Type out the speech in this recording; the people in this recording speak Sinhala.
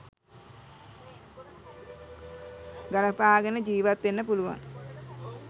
ගලපාගෙන ජිවත් වෙන්න පුළුවන්.